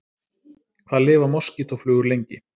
Hvað lifa moskítóflugur lengi?